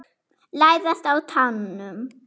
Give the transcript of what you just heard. Læðast á tánum.